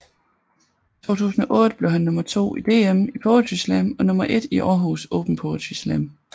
I 2008 blev han nummer 2 i DM i Poetry slam og nummer 1 i Århus Open Poetry Slam